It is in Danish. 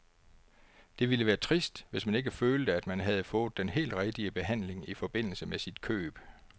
Det ville være trist, hvis man ikke følte, at man havde fået den helt rigtige behandling i forbindelse med sit køb.